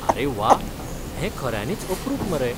आरे वा! हें खऱ्यांनीच अप्रूप मरे.